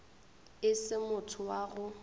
e se motho wa go